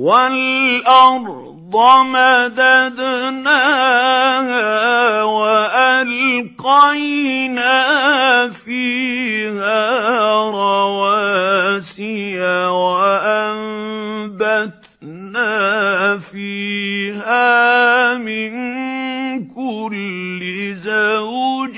وَالْأَرْضَ مَدَدْنَاهَا وَأَلْقَيْنَا فِيهَا رَوَاسِيَ وَأَنبَتْنَا فِيهَا مِن كُلِّ زَوْجٍ